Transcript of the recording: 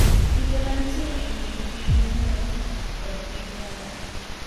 kinde mantie e kind piny Amerka kod piny Kanada